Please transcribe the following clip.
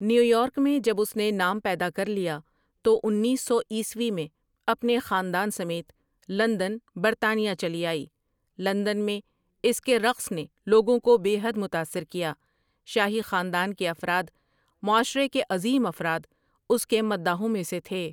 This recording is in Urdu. نیو یارک میں جب اس نے نام پیدا کر لیا تو انیس سو عیسوی میں اپنے خاندان سمیت لندن برطانیہ چلی آئی لندن میں اس کے رقص نے لوگوں کو بے حد متاثر کیا شاہی خاندان کے افراد، معاشرے کے عظیم افراد اس کے مداحوں میں سے تھے ۔